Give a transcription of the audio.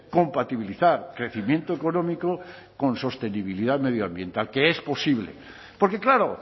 compatibilizar crecimiento económico con sostenibilidad medioambiental que es posible porque claro